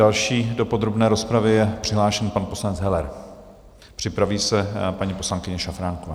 Další do podrobné rozpravy je přihlášen pan poslanec Heller, připraví se paní poslankyně Šafránková.